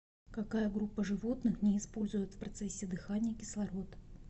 какая группа животных не использует в процессе дыхания кислород